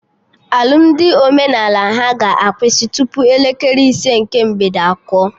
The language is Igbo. Alụmdi omenala ha ga-akwụsị tupu elekere ise nke mgbede akụọ